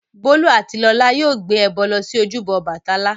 Bólú àti Lọlá yóò gbé ẹbọ lọ sí ojúbọ Ọbàtálá.